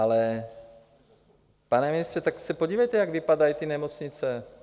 Ale pane ministře, tak se podívejte, jak vypadají ty nemocnice.